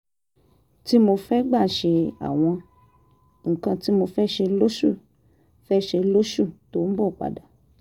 tí mo fẹ́ gbà ṣe àwọn nǹkan tí mo fẹ́ ṣe lóṣù fẹ́ ṣe lóṣù tó ń bọ̀ padà